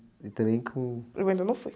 E também com...u ainda não fui.